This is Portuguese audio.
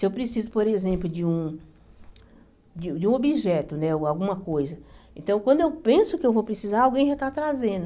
Se eu preciso, por exemplo, de um de um de um objeto né, alguma coisa, então quando eu penso que eu vou precisar, alguém já está trazendo.